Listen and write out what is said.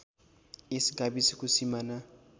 यस गाविसको सिमाना